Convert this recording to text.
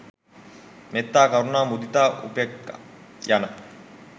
මෙත්තා, කරුණා, මුදිතා, උපෙක්‍ඛා, යන